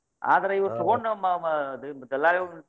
ಅದ್ರ್ ಇವ್ರ ತುಗೊಂಡ ಮಾ ಮಾ ಎಲ್ಲಾ ಇವ್ರ್,